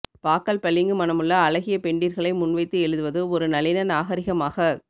பாக்கள் பளிங்கு மனமுள்ள அழகிய பெண்டிர் களை முன்வைத்து எழுதுவது ஒரு நளின நாகரிகமாகக்